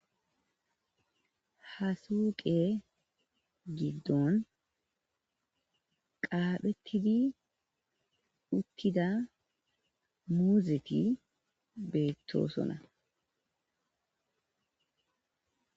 Hasuuqe giddon qaaphettidi uttida muuzeti beettosona.